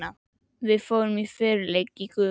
Við fórum í feluleik í gufunni.